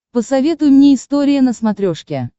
посоветуй мне история на смотрешке